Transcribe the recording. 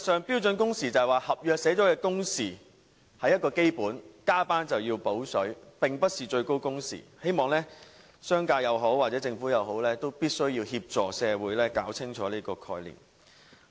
標準工時是指合約訂明一個基本工時，加班便要"補水"，並不是指最高工時，希望商界或政府必須協助社會弄清楚這個概念。